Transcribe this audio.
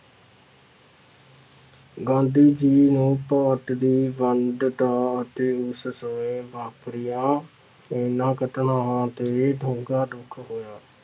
ਗਾਂਧੀ ਜੀ ਨੇ ਭਾਰਤ ਦੀ ਵੰਡ ਦਾ ਅਤੇ ਉਸ ਸਮੇਂ ਵਾਪਰੀਆਂ ਇਹਨਾਂ ਘਟਨਾਵਾਂ ਤੇ ਡੂੰਘਾ ਦੁੱਖ ਹੋਇਆ।